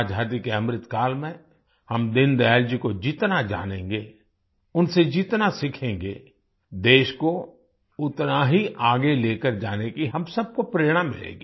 आज़ादी के अमृतकाल में हम दीनदयाल जी को जितना जानेंगे उनसे जितना सीखेंगे देश को उतना ही आगे लेकर जाने की हम सबको प्रेरणा मिलेगी